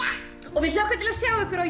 og við hlökkum til að sjá ykkur á